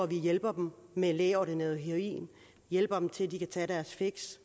vi hjælper dem med lægeordineret heroin og hjælper dem til at de kan tage deres fix